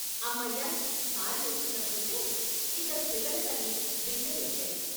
అమ్మయ్య ఖాళీ వచ్చిందను కుంటే ఇద్దరు పిల్లలతల్లి, బిందెలు ఎక్కాయి.